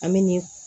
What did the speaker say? An bɛ nin